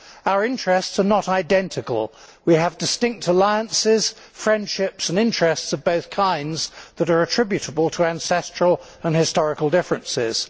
Our interests are not identical, we have distinct alliances, friendships and interests of both kinds that are attributable to ancestral and historical differences.